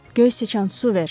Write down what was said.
Göy siçan, su ver.